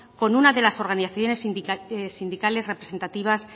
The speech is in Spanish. con una de las organizaciones sindicales representativas